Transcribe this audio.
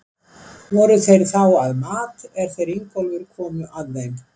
Voru þeir þá að mat, er þeir Ingólfur komu að þeim.